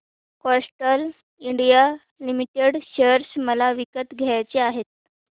Castrol India limited share मला विकत घ्यायचे आहेत